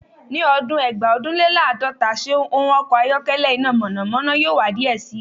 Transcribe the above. Ni ọdun Eegbaodunlelaadota se ọn ọkọ ayọkẹlẹ ina mọnamọna yoo wa diẹ sii